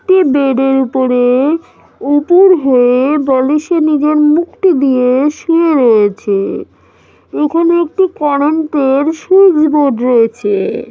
একটি বেড -এর উপরে উপুড় হয়ে বলিসে নিজের মুখটি দিয়ে শুয়ে রয়েছে। এখানে একটু কারেন্টে -এর সুইচ বোর্ড রয়েছে।